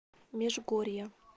межгорья